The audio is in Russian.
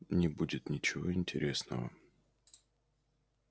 не будет ничего интересного